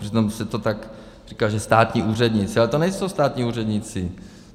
Přitom se to tak říká, že státní úředníci, ale to nejsou státní úředníci.